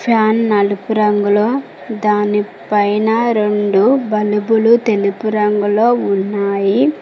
Fan నలుపు రంగులో దాని పైన రెండు బలుపులు తెలుపు రంగులో ఉన్నాయి.